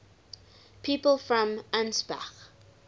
people from ansbach